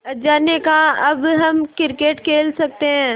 अज्जा ने कहा अब हम क्रिकेट खेल सकते हैं